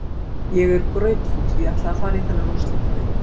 Ég er grautfúll, ég ætlaði að fara í þennan úrslitaleik.